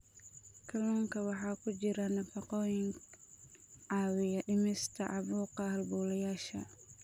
Kalluunka waxaa ku jira nafaqooyin caawiya dhimista caabuqa halbowlayaasha.